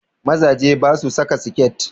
Mazaje basu saka siket